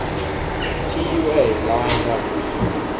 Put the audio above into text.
tua line runs